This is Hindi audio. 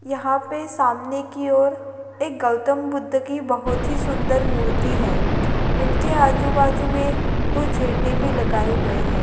सामने की ओर एक गौतम बुद्ध की बहुत ही सुंदर मूर्ति है उनके आजू-बाजू में दो झंडे भी लगाए हुए है।